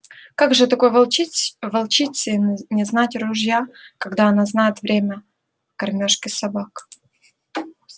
как же такой волчице не знать ружья когда она знает время кормёжки собак